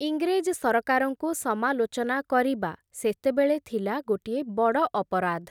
ଇଂରେଜ୍ ସରକାରଙ୍କୁ ସମାଲୋଚନା କରିବା, ସେତେବେଳେ ଥିଲା ଗୋଟିଏ ବଡ଼ ଅପରାଧ୍ ।